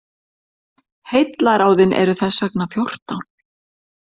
Heillaráðin eru þess vegna fjórtán.